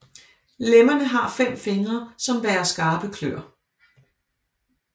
Lemmerne har fem fingre som bærer skarpe kløer